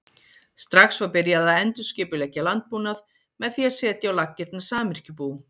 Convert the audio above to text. Strax var byrjað að endurskipuleggja landbúnað með því að setja á laggirnar samyrkjubú.